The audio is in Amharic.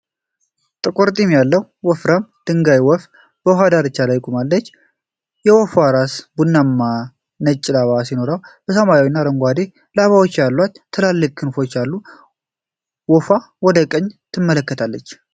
ጥቁር ጢም ያለው ወፍራም ደንጋይ ወፍ በውሃ ዳርቻ ላይ ቆሟል። የወፏ ራስ ቡናማና ነጭ ላባ ሲኖረው፣ ሰማያዊና አረንጓዴ ላባዎች ያሏቸው ትላልቅ ክንፎችም አሉ። ወፉ ወደ ቀኝ ትመለከታለች።